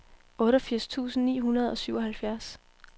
otteogfirs tusind ni hundrede og syvoghalvfjerds